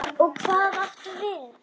Og hvað áttu við?